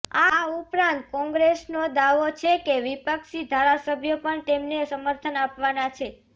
આ ઉપરાંત કોંગ્રેસનો દાવો છે કે બે વિપક્ષી ધારાસભ્યો પણ તેમને સમર્થન આપાવનાં છે